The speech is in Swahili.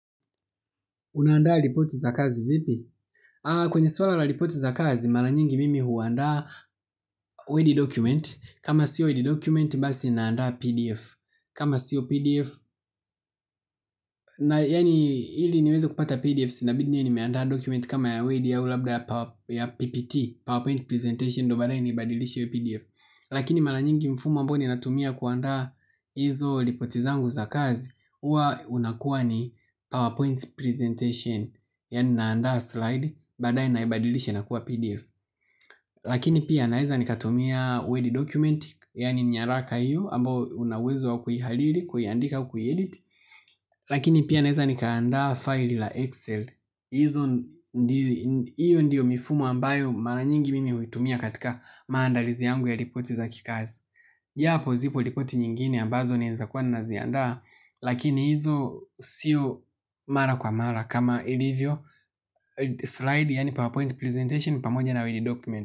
Unaandaa ripoti za kazi vipi? Kwenye swala la ripoti za kazi, mara nyingi mimi huanda word document, kama sio word document, basi naandaa PDF. Kama siyo PDF, na yaani ili niweze kupata PDF inabidi niwe nimeandaa document kama ya word au labda ya PPT PowerPoint Presentation, ndo baadaye nibadilishi iwe PDF. Lakini mara nyingi mfumo ambao ni natumia kuandaa hizo ripoti zangu za kazi, huwa unakuwa ni PowerPoint Presentation. Yaani naandaa slide baadaye naibadilishe inakuwa PDF. Lakini pia naweza nikatumia word document. Yaani nyaraka hiyo ambao una uwezo wa kuihariri kuiandika kuiedit. Lakini pia naeza nikaandaa file la Excel hoyo ndiyo mifumo ambayo mara nyingi mimi huitumia katika maandalizi yangu ya ripoti za kikazi japo zipo ripoti nyingine ambazo naeza kuwa naziandaa. Lakini hizo sio mara kwa mara kama ilivyo slide yaani PowerPoint presentation pamoja na word document.